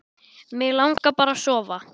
Mig langar bara að sofa.